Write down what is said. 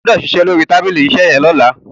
o gbódò ṣiṣẹ lórí tábìlì iṣe yén lọla!